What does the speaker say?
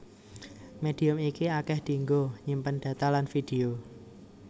Médium iki akèh dienggo nyimpen data lan vidéo